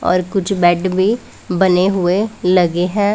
और कुछ बेड भी बने हुए लगे हैं।